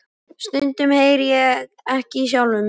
Stundum heyri ég ekki í sjálfum mér.